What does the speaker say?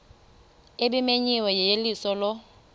ebimenyiwe yeyeliso lo